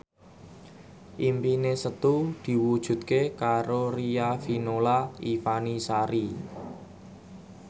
impine Setu diwujudke karo Riafinola Ifani Sari